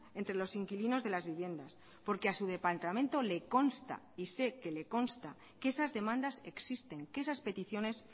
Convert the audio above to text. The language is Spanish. entre los inquilinos de las viviendas porque a su departamento le consta y sé que le consta que esas demandas existen que esas peticiones